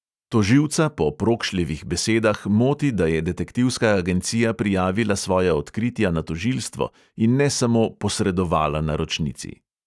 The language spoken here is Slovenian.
Tožilca po prokšljevih besedah moti, da je detektivska agencija prijavila svoja odkritja na tožilstvo in ne samo posredovala naročnici.